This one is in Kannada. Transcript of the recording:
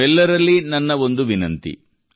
ನಿಮ್ಮೆಲ್ಲರಲ್ಲಿ ನನ್ನ ಒಂದು ವಿನಂತಿ